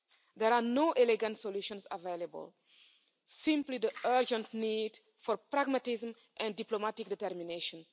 There are no elegant solutions available, simply the urgent need for pragmatism and diplomatic determination.